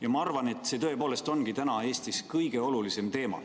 " Ja ma arvan, et see tõepoolest ongi Eestis praegu kõige olulisem teema.